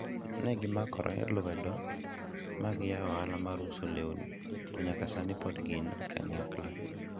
ne gimakore lwedo ma giyawo ohala mar uso lewni to nyaka sani pod gin kanyakla